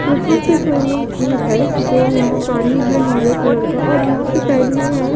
यहां पे swimming pool है जो यहां पानी है नीले कलर का और यहां पे साइड में यह--